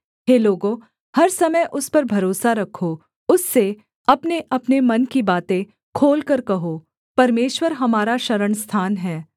हे लोगों हर समय उस पर भरोसा रखो उससे अपनेअपने मन की बातें खोलकर कहो परमेश्वर हमारा शरणस्थान है सेला